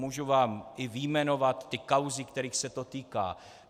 Mohu vám i vyjmenovat ty kauzy, kterých se to týká.